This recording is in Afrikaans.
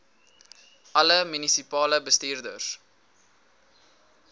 alle munisipale bestuurders